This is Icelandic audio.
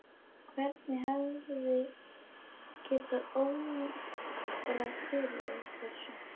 Hvern hefði getað órað fyrir þessu?